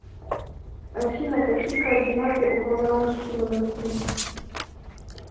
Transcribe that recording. афина какие координаты у валаамский монастырь